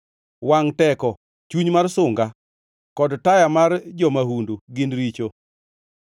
Wangʼ teko, chuny mar sunga kod taya mar jo-mahundu, gin richo!